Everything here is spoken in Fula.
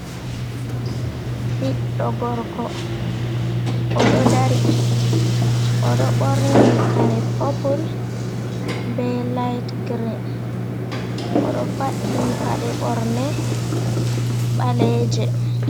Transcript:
Biddo gorko, odo dari, odo burni kare puple be liti grini, odo faddi pase borne baleje.